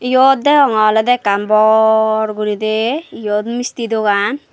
yot deonge olode ekkan bor gurine yot misti dogan.